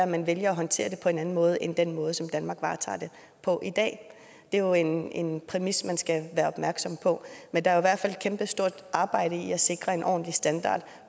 man vælger at håndtere det på en anden måde end den måde som danmark varetager det på i dag det er jo en en præmis man skal være opmærksom på men der er i kæmpestort arbejde i at sikre en ordentlig standard